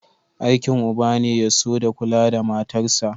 Aikin uba ne ya so da kula da matarsa.